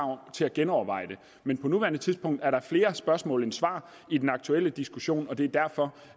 til at genoverveje det men på nuværende tidspunkt er der flere spørgsmål end svar i den aktuelle diskussion og det er derfor